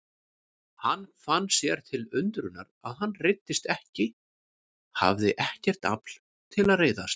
Hann fann sér til undrunar að hann reiddist ekki, hafði ekkert afl til að reiðast.